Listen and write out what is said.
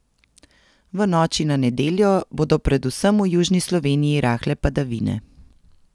V noči na nedeljo bodo predvsem v južni Sloveniji rahle padavine.